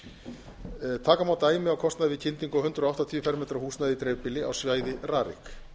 árum taka má dæmi á kostnað við kyndingu á hundrað áttatíu fermetra húsnæði í dreifbýli á svæði rarik